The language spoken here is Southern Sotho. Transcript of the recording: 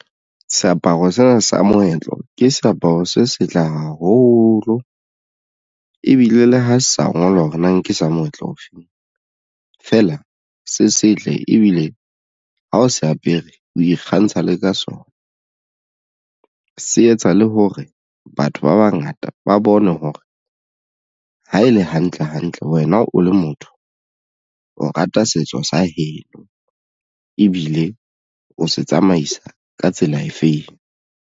Seaparo sena sa moetlo ke seaparo se setle haholo ebile le ha sa ngolwa hore na ke sa moetlo o feng fela se setle ebile ha o se apere o ikgantsha le ka sona se etsa le hore batho ba bangata ba bone hore ha e le hantle hantle wena o le motho o rata setso sa heno ebile o se tsamaisa ka tsela efeng.